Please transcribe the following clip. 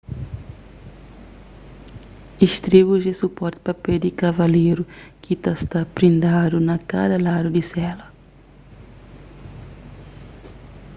istribus é suporti pa pé di kavaleru ki ta sta prindadu na kada ladu di sela